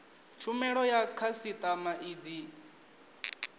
tshumelo ya khasitama i dzi